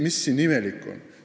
Mis siin imelikku on?